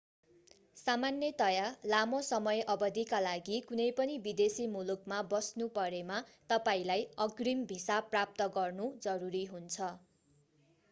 सामान्यतया लामो समय अवधिका लागि कुनै पनि विदेशी मुलुकमा बस्नु परेमा तपाईंलाई अग्रिम भिसा प्राप्त गर्नु जरुरी हुन्छ